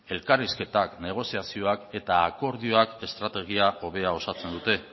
elkarrizketak negoziazioak eta akordioa estrategia hobea osatzen dute